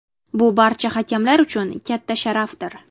Bu barcha hakamlar uchun katta sharafdir.